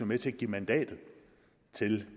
med til at give mandatet til